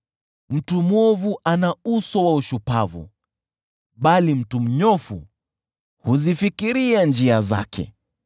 Mtu mwovu ana uso wa ushupavu, bali mtu mnyofu huzifikiria njia zake.